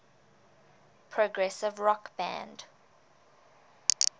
progressive rock band